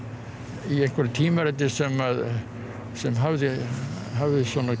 í einhverju tímariti sem sem hafði hafði